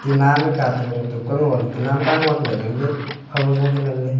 tina ma katun e tuk ang le tanam pa angoh le ngan le phai ajua chu nganle.